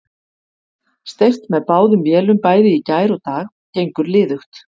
Steypt með báðum vélum bæði í gær og í dag, gengur liðugt.